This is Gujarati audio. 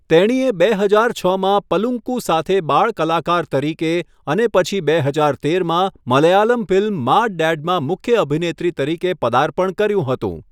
તેણીએ બે હજાર છમાં 'પલુંકુ' સાથે બાળ કલાકાર તરીકે અને પછી બે હજાર તેરમાં મલયાલમ ફિલ્મ 'માડ ડેડ' માં મુખ્ય અભિનેત્રી તરીકે પર્દાપણ કર્યું હતું.